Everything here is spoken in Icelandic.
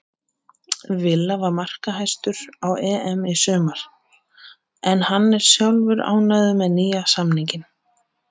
Villa var markahæstur á EM í sumar en hann er sjálfur ánægður með nýja samninginn.